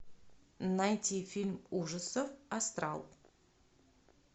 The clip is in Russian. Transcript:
найти фильм ужасов астрал